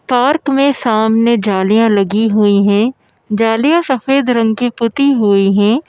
Park में सामने जालियाँ लगी हुई हैं जालिया सफेद रंग की पुती हुई हैं।